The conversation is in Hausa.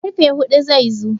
karfe hudu zai zo